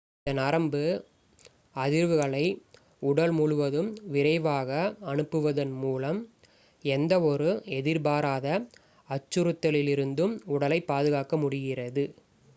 இந்த நரம்பு அதிர்வுகளை உடல் முழுவதும் விரைவாக அனுப்புவதன் மூலம் எந்தவொரு எதிர்பாராத அச்சுறுத்தலிலிருந்தும் உடலைப் பாதுகாக்க முடிகிறது